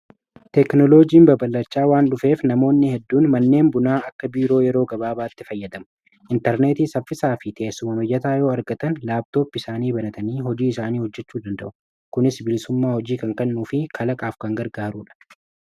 teeknoloojiin babalachaa waan dhufeef namoonni hedduun manneen bunaa akka biiroo yeroo gabaabaatti fayyadamu intarneetii saffisaa fi tessumamoyyataa yoo argatan laabtoopi isaanii banatanii hojii isaanii hojjechuu danda'u kunis biilsummaa hojii kankannuu fi kalaqaaf kangargaaruudha